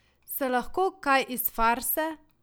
Se lahko kaj iz farse?